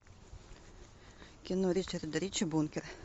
кино ричарда рича бункер